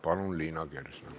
Palun, Liina Kersna!